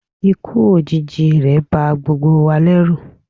ikú òjijì rẹ̀ ba gbogbo wa lẹ́rù